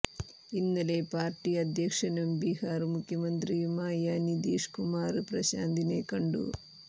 ഇന്നലെ പാര്ട്ടി അധ്യക്ഷനും ബിഹാര് മുഖ്യമന്ത്രിയുമായ നിതീഷ് കുമാര് പ്രശാന്തിനെ കണ്ടു